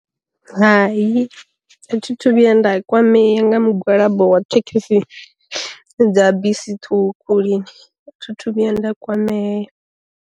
Hai a thi thu vhuya nda kwamea nga mugwalabo wa thekhisi dza bisi ṱhukhu lini, thi thu vhuya nda kwameya.